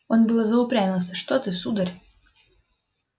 он было заупрямился что ты сударь